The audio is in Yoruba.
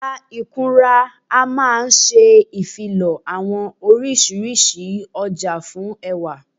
Abala ìkunra máa n ṣe ìfilọ́ àwọn oriṣiríṣi ọjà fún ẹwà